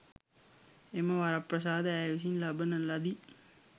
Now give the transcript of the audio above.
එම වරප්‍රසාද ඇය විසින් ලබන ලදී.